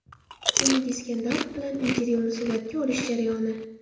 Umid Iskandarov bilan intervyuni suratga olish jarayoni.